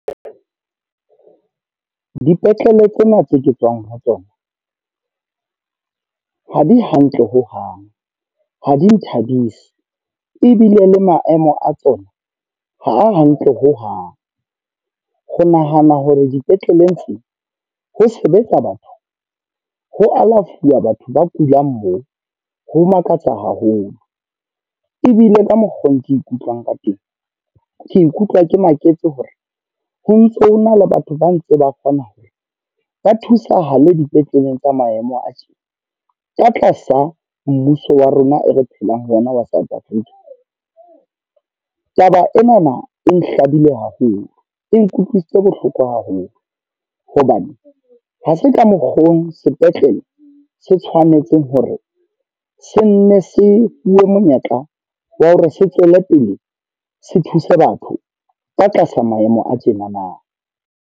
Dipetlele tsena tse ke tswang ho tsona, ha di hantle hohang. Ha di nthabisi. Ebile le maemo a tsona, ha a hantle hohang. Ho nahana hore dipetleleng tse ho sebetsa batho, ho alafuwa batho ba kulang moo, ho makatsa haholo. Ebile ka mokgwa oo ke ikutlwang ka teng. Ke ikutlwa ke maketse hore, ho ntso ho na le batho ba ntse ba kgona hore ba thusahale dipetleleng tsa maemo a tje ka tlasa mmuso wa rona e re phelang ho ona wa South Africa. Taba enana e hlabile haholo, e nkutlwisitse bohloko haholo. Hobane ha se ka mokgwa oo sepetlele se tshwanetseng hore sene se bue monyetla wa hore se tswele pele se thuse batho. Ba tlasa maemo a tjenana.